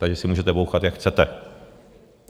Takže si můžete bouchat, jak chcete.